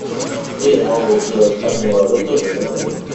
где я могу сделать обмен валюты в этом отеле